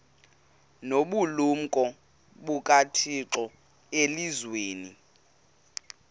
nobulumko bukathixo elizwini